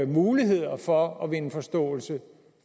muligheder for at vinde forståelse